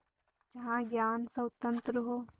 जहाँ ज्ञान स्वतन्त्र हो